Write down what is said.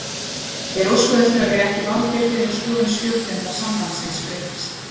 Þeir óskuðu eftir að vera ekki valdir fyrr en skoðun stjórnenda sambandsins breyttist.